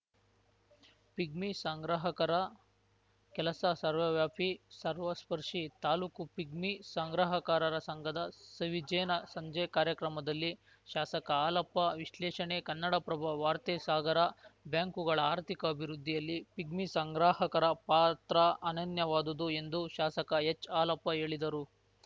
pigmy ಸಂಗ್ರಹಕರ ಕೆಲಸ ಸರ್ವವ್ಯಾಪಿ ಸರ್ವಸ್ಪರ್ಶಿ taluk pigmy ಸಂಗ್ರಹಕಾರರ ಸಂಘದ ಸವಿಜೇನ ಸಂಜೆ ಕಾರ್ಯಕ್ರಮದಲ್ಲಿ ಶಾಸಕ ಹಾಲಪ್ಪ ವಿಶ್ಲೇಷಣೆ ಕನ್ನಡಪ್ರಭ ವಾರ್ತೆ ಸಾಗರ ಬ್ಯಾಂಕುಗಳ ಆರ್ಥಿಕ ಅಭಿವೃದ್ಧಿಯಲ್ಲಿ ಪಿಗ್ಮಿ ಸಂಗ್ರಾಹಕರ ಪಾತ್ರ ಅನನ್ಯವಾದುದು ಎಂದು ಶಾಸಕ ಎಚ್‌ಹಾಲಪ್ಪ ಹೇಳಿದರು